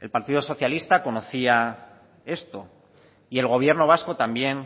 el partido socialista conocía esto y el gobierno vasco también